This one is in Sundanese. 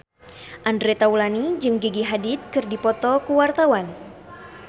Andre Taulany jeung Gigi Hadid keur dipoto ku wartawan